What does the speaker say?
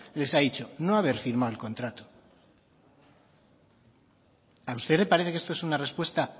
les ha dicho no haber firmado el contrato a usted le parece que esto es una respuesta